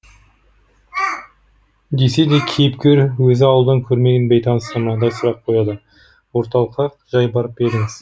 десе де кейіпкер өзі ауылдан көрмеген бейтанысына мынадай сұрақ қояды орталыққа жай барып па едіңіз